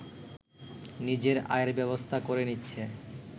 নিজের আয়ের ব্যবস্থা করে নিচ্ছে